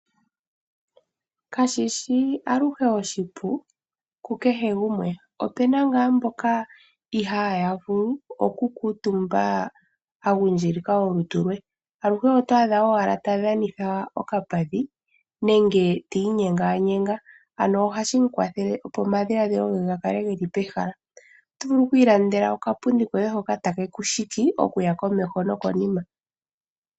Kashishi aluhe oshipu ku kehe gumwe, opuna ngaa mboka ihaaya vulu oku kutumba a gundjilika olutu lwe, aluhe oto adha owala tadhanitha okapadhi nenge ti inyenganyenga ano ohashi ku kwathele opo omadhiladhilo nge ga vule okuya pehala Otovulu okwiilandela okapunda hoka take ku shiki okuya komeho nokonima.